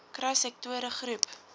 kry sektore groep